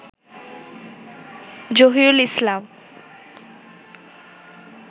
Zahirul Islam